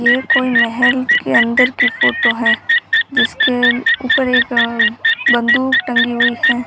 ये कोई महल के अंदर की फोटो है जिसके ऊपर एक बंदूक टंगी हुई है।